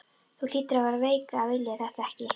Þú hlýtur að vera veik að vilja þetta ekki!